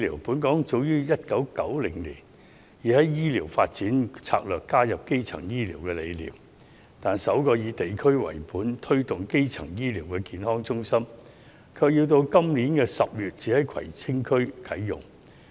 本港早於1990年已在醫療發展策略內加入基層醫療的理念，但首個以地區為本，推動基層醫療的健康中心，卻到今年10月才會在葵青區啟用。